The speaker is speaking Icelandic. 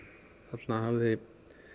þarna hafði